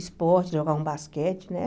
Esporte, jogava um basquete, né?